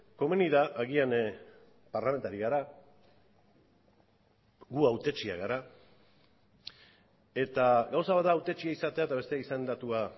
komeni da agian parlamentari gara gu hautetxeak gara eta gauza bat da hautetxea izatea eta beste izendatua